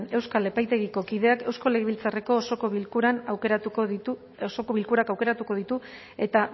euskal epaitegiko kideak eusko legebiltzarreko osoko bilkurak aukeratuko ditu eta